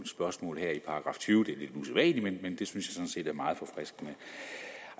§ tyve det er lidt usædvanligt men det synes jeg sådan set er meget forfriskende